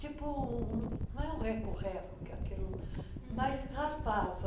Tipo, um não é um reco-reco que é aquilo, mas raspava.